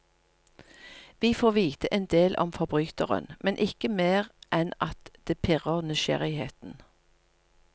Vi får vite en del om forbryteren, men ikke mer enn at det pirrer nysgjerrigheten.